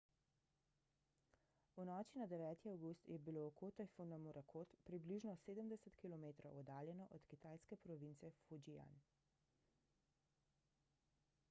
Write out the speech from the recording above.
v noči na 9 avgust je bilo oko tajfuna morakot približno sedemdeset kilometrov oddaljeno od kitajske province fujian